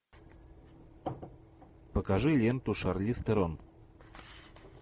покажи ленту шарлиз терон